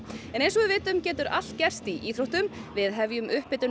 en eins og við vitum getur allt gerst í íþróttum við hefjum upphitun